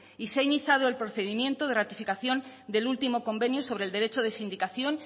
y se ha iniciado el procedimiento de ratificación del último convenio sobre el derecho de sindicación